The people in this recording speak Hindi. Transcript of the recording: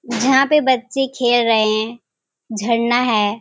यहाँ पे बच्चे खेल रहे हैं झरना है।